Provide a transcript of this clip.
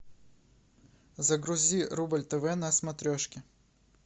загрузи рубль тв на смотрешке